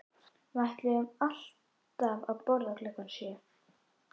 Við ætluðum alltaf að borða klukkan sjö